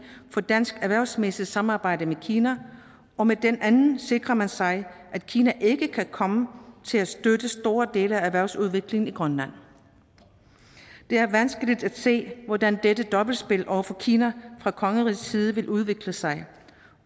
for dansk erhvervsmæssigt samarbejde med kina og med den anden sikrer man sig at kina ikke kan komme til at støtte store dele af erhvervsudviklingen i grønland det er vanskeligt at se hvordan dette dobbeltspil over for kina fra kongerigets side vil udvikle sig